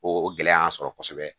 O gɛlɛya y'an sɔrɔ kosɛbɛ